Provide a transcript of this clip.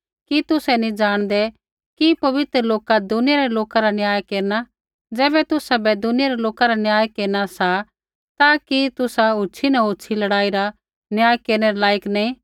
कि तुसै नी जाणदै कि पवित्र लोका दुनिया रै लोका रा न्याय केरना ज़ैबै तुसाबै दुनिया रै लोका रा न्याय केरना सा ता कि तुसा होछ़ी न होछ़ी लड़ाई रा न्याय केरनै रै लाइक नैंई